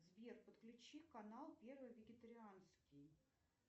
сбер подключи канал первый вегетарианский